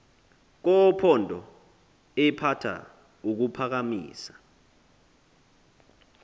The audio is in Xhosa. kophondo ephatha kuphakamisa